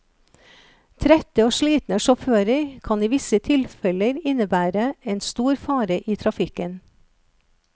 Trette og slitne sjåfører kan i visse tilfeller innebære en stor fare i trafikken.